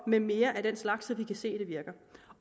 med mere af den slags så vi kan se at det virker